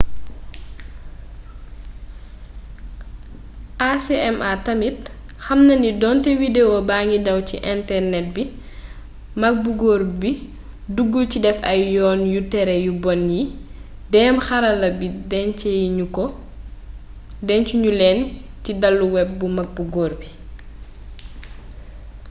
acma tamit xamnani donté widewo bangi daw ci internet bi mak bu góor bi duggul ci déf ay yoon yu téré yu bon yi déém xarala yi déncu ñu leen ci dalu web tu mag bu góor bi